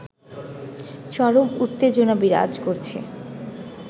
চরম উত্তেজনা বিরাজ করছে